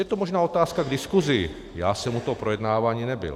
Je to možná otázka k diskusi, já jsem u toho projednávání nebyl.